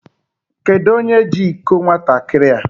Kedụ onye jị ịkọ nwatakịrị a?